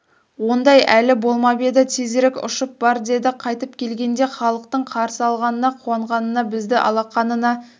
ондай әлі болмап еді тезірек ұшып бар деді қайтып келгенде халықтың қарсы алғанына қуанғанына бізді алақанына